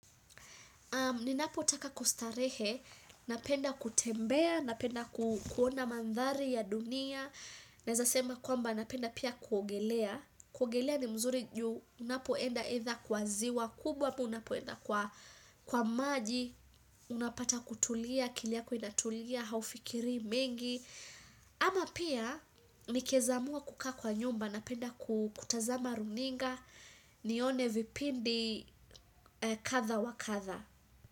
Ninapotaka kustarehe, napenda kutembea, napenda kuona mandhari ya dunia. Naeza sema kwamba napenda pia kuogelea. Kuogelea ni mzuri juu, unapoenda enda kwa ziwa, kubwa ama unapoenda kwa maji. Unapata kutulia, akili yako inatulia, haufikiri mingi. Ama pia, nikiweza amua kukaa kwa nyumba, napenda kutazama runinga, nione vipindi katha wa katha.